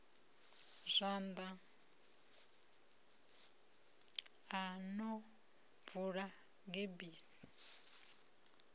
zwanḓa o no bvula gebisi